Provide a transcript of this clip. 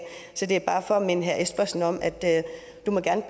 så det er bare for at minde herre søren espersen om at